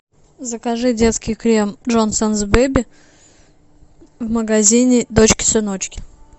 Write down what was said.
закажи детский крем джонсонс беби в магазине дочки сыночки